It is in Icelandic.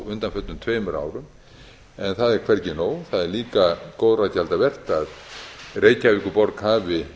undanförnum tveimur árum en það er hvergi nóg það er líka góðra gjalda vert að reykjavíkurborg hafi